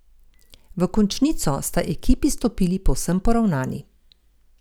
V končnico sta ekipi stopili povsem poravnani.